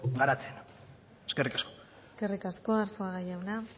garatzen eskerrik asko eskerrik asko arzuaga jauna